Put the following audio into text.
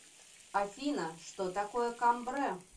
афина что такое камбре